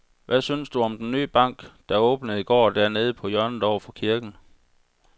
Hvad synes du om den nye bank, der åbnede i går dernede på hjørnet over for kirken?